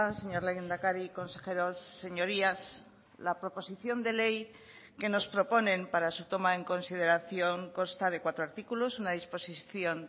señor lehendakari consejeros señorías la proposición de ley que nos proponen para su toma en consideración consta de cuatro artículos una disposición